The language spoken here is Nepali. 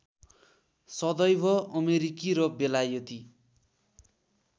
सदैव अमेरिकी र बेलायती